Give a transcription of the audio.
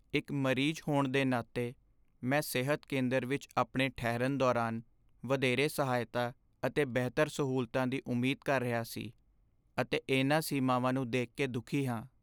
ਇੱਕ ਮਰੀਜ਼ ਹੋਣ ਦੇ ਨਾਤੇ, ਮੈਂ ਸਿਹਤ ਕੇਂਦਰ ਵਿੱਚ ਆਪਣੇ ਠਹਿਰਨ ਦੌਰਾਨ ਵਧੇਰੇ ਸਹਾਇਤਾ ਅਤੇ ਬਿਹਤਰ ਸਹੂਲਤਾਂ ਦੀ ਉਮੀਦ ਕਰ ਰਿਹਾ ਸੀ, ਅਤੇ ਇਹਨਾਂ ਸੀਮਾਵਾਂ ਨੂੰ ਦੇਖ ਕੇ ਦੁਖੀ ਹਾਂ।